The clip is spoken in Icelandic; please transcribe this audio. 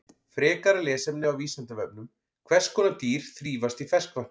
Frekara lesefni á Vísindavefnum: Hvers konar dýr þrífast í ferskvatni?